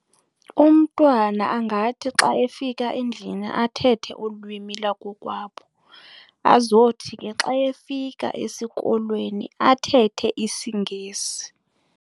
Umntwana angathi xa efika endlini athethe ulwimi lwakokwabo azothi ke xa efika esikolweni athethe isiNgesi.